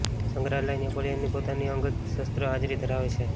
સંગ્રહાલય નેપોલિયનની પોતાની અંગત શસ્ત્ર હાજરી ધરાવે છે